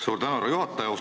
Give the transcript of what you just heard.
Suur tänu, härra juhataja!